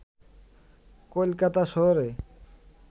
কলকাতা শহরে